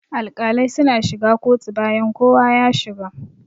Alƙalai suna shiga kotu bayan kowa ya shiga.